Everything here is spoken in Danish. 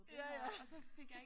Ja ja